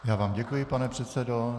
Já vám děkuji, pane předsedo.